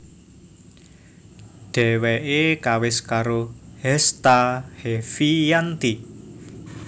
Dheweke kawis karo Hesta Heviyanti